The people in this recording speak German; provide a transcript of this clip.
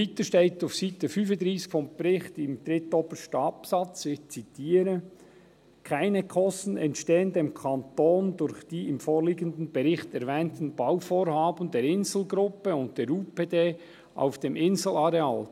Weiter steht auf der Seite 35 des Berichts im drittobersten Absatz, ich zitiere: «Keine Kosten entstehen dem Kanton durch die im vorliegenden Bericht erwähnten Bauvorhaben der Insel Gruppe und der UPD auf dem Inselareal.